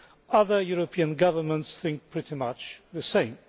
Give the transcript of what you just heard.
Other European governments think pretty much the same.